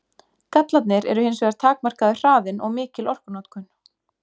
Gallarnir eru hins vegar takmarkaður hraðinn og mikil orkunotkun.